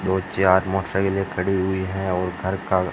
दो चार मोटरसाइकिले खड़ी हुई है और घर का--